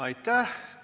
Aitäh!